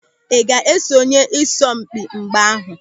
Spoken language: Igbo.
Ị ga-esonye n'asọmpị mgba ahụ?